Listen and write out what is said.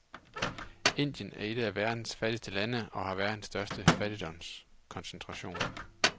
Indien er et af verdens fattigste lande og har verdens største fattigdomskoncentration.